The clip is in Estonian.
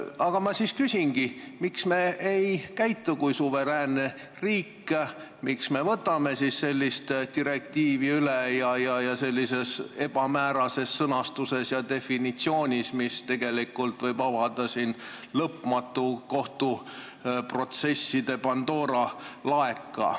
Aga ma siis küsingi, miks me ei käitu kui suveräänne riik, mis me võtame sellise direktiivi üle ning sellises ebamäärases sõnastuses ja definitsioonis, et see tegelikult võib avada lõpmatute kohtuprotsesside Pandora laeka.